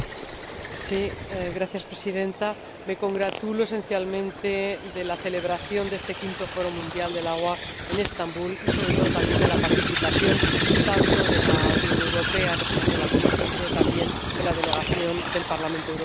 Señora Presidenta, me congratulo esencialmente de la celebración de este V Foro Mundial del Agua en Estambul, y, sobre todo, también, de la participación de la Unión Europea, con una representación de la Comisión, pero también con una delegación del Parlamento Europeo.